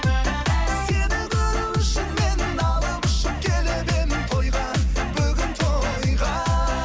сені көру үшін мен алып ұшып келіп едім тойға бүгін тойға